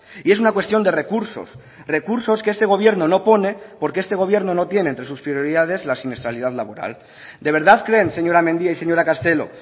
y es una cuestión de recursos recursos que este gobierno no pone porque este gobierno no tiene entre sus prioridades la siniestralidad laboral de verdad creen señora mendia y señora castelo